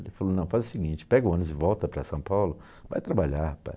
Ele falou, não, faz o seguinte, pega o ônibus e volta para São Paulo, vai trabalhar, pai.